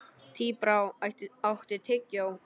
Tíbrá, áttu tyggjó?